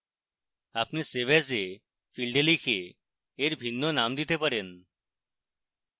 আপনি save as a ফীল্ডে লিখে এর ভিন্ন name দিতে পারেন